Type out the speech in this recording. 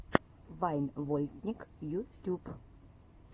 вайн вольтник ютюб